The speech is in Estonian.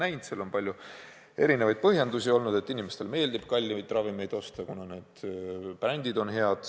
Sellele on olnud palju põhjendusi, näiteks: inimestele meeldib kallimaid ravimeid osta, kuna need brändid on head.